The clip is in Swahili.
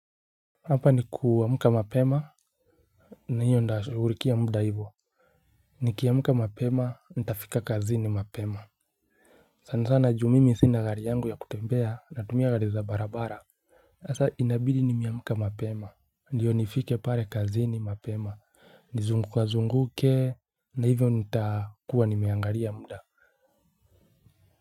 Hapa ni kuamka mapema, na hiyo nitashughulikia muda hivyo. Nikiamka mapema, nitafika kazini mapema. Sana sana juu mimi sina gari yangu ya kutembea, natumia gari za barabara. Sasa inabidi nimeamka mapema ndio nifike pale kazini mapema, nizungukazunguke na hivyo nitakuwa nimeangalia muda.